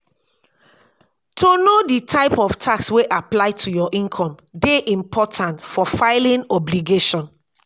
to know di type of tax wey apply to your income dey important for filimg obligation